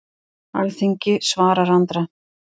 Alþingi svarar Andra